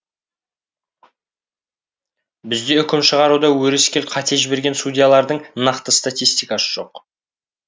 бізде үкім шығаруда өрескел қате жіберген судьялардың нақты статистикасы жоқ